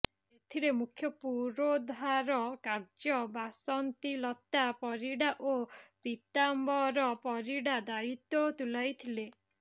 ଏଥିରେ ମୁଖ୍ୟ ପୁରୋଧାର କାର୍ଯ୍ୟ ବାସନ୍ତୀଲତା ପରିଡା ଓ ପୀତାମ୍ବର ପରିଡା ଦାୟିତ୍ୱ ତୁଲାଇଥିଲେ